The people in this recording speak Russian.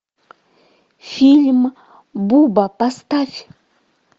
фильм буба поставь